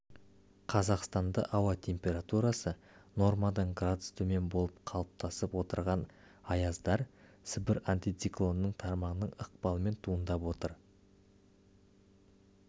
қазақстанда ауа температурасы нормадан градус төмен болып қалыптасып отырған аяздар сібір антициклонының тармағының ықпалымен туындап отыр